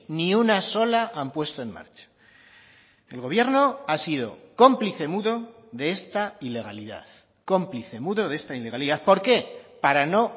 ni una sola han puesto en marcha el gobierno ha sido cómplice mudo de esta ilegalidad cómplice mudo de esta ilegalidad por qué para no